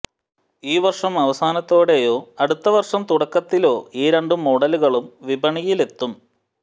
ഈ വര്ഷം അവസാനത്തോടെയോ അടുത്ത വര്ഷം തുടക്കത്തിലോ ഈ രണ്ടു മോഡലുകളും വിപണിയലെത്തും